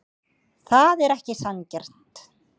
Það er ekki sanngjarnt.